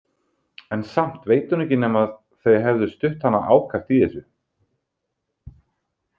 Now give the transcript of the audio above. En samt veit hún ekki nema þau hefðu stutt hana ákaft í þessu.